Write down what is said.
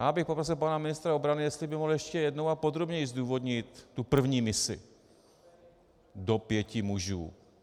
Já bych poprosil pana ministra obrany, jestli by mohl ještě jednou a podrobněji zdůvodnit tu první misi do pěti mužů.